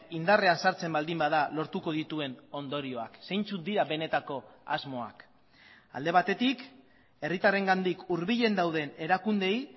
indarrean sartzen baldin bada lortuko dituen ondorioak zeintzuk dira benetako asmoak alde batetik herritarrengandik hurbilen dauden erakundeei